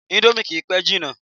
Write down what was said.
Indomie kìí pẹ́ jina